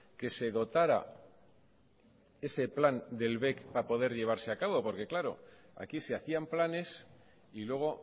que se dotara ese plan de bec para poder llevarse a cabo porque aquí se hacían planes y luego